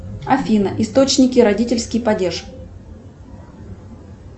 афина источники родительский падеж